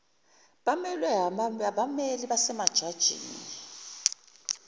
bemelwe abammeli basemajajini